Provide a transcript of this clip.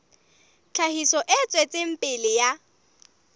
tlhahiso e tswetseng pele ya